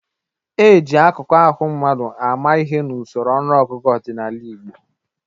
E ji akụkụ ahụ mmadụ àmà ihe n'usoro ọnụọgụgụ ọdịnala Igbo.